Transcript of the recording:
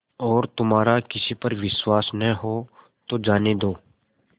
और तुम्हारा किसी पर विश्वास न हो तो जाने दो